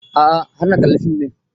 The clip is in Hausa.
A'a har na kalla fim ɗin